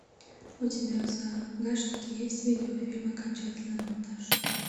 у тебя в загашнике есть видеофильм окончательный монтаж